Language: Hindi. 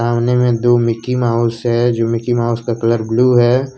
सामने में दो मिकी माउस है जो मिकी माउस का कलर ब्लू है।